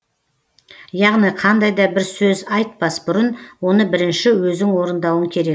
яғни қандай да бір сөз айтпас бұрын оны бірінші өзің орындауың керек